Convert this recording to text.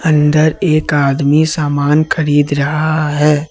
अंदर एक आदमी सामान खरीद रहा है।